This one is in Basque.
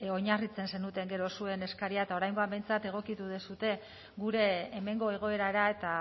oinarritzen zenuten gero zuen eskaria eta oraingoan behintzat egokitu duzue gure hemengo egoerara eta